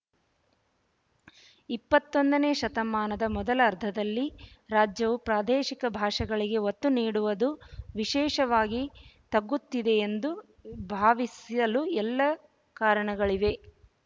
ಇಪ್ಪತ್ತೊಂದನೆ ಶತಮಾನದ ಮೊದಲ ಅರ್ಧದಲ್ಲಿ ರಾಜ್ಯವು ಪ್ರಾದೇಶಿಕ ಭಾಷೆಗಳಿಗೆ ಒತ್ತು ನೀಡುವುದು ವಿಶೇಷವಾಗಿ ತಗ್ಗುತ್ತಿದೆಯೆಂದು ಭಾವಿಸಲು ಎಲ್ಲ ಕಾರಣಗಳಿವೆ